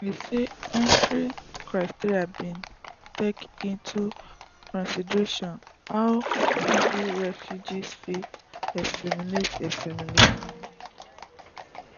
e say entry criteria bin take into consideration how easily refugees fit assimilate assimilate